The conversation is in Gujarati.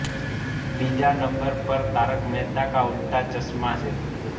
બીજા નંબર પર તારક મહેતા કા ઉલ્ટા ચશ્મા છે